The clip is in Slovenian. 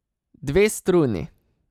Dve struni!